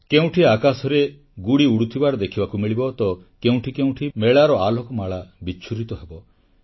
କେଉଁଠି ଆକାଶରେ ଗୁଡ଼ି ଉଡୁଥିବାର ଦେଖିବାକୁ ମିଳିବ ତ କେଉଁଠି କେଉଁଠି ମେଳାର ଆଲୋକମାଳା ବିଚ୍ଛୁରିତ ହେବ